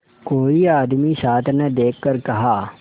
कोई आदमी साथ न देखकर कहा